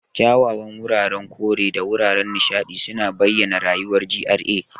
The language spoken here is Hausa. Kyawawan wuraren kore da wuraren nishaɗi suna bayyana rayuwar GRA.